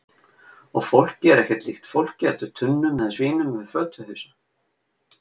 Og fólkið er ekkert líkt fólki heldur tunnum eða svínum með fötuhausa.